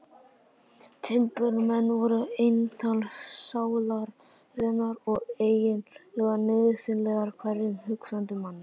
Timburmenn voru eintal sálarinnar og eiginlega nauðsynlegir hverjum hugsandi manni.